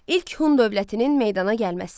İlk Hun dövlətinin meydana gəlməsi.